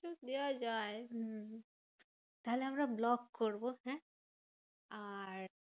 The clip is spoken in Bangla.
দেওয়া যায় হম তাহলে আমরা vlog করবো হ্যাঁ? আর